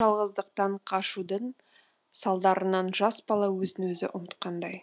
жалғыздықтан қажудың салдарынан жас бала өзін өзі ұмытқандай